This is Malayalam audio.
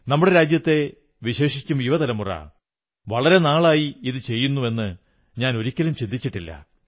നമ്മുടെ രാജ്യത്തെ വിശേഷിച്ചും യുവതലമുറ വളരെ നാളായി ഇതു ചെയ്യുന്നുവെന്ന് ഞാനൊരിക്കലും ചിന്തിച്ചിട്ടില്ല